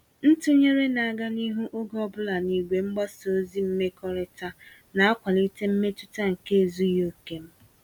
Ntụnyere na-aga n'ihu oge ọbula n'igwe mgbasa ozi mmekọrịta, na-akwali mmetụta nke ezughị oke m.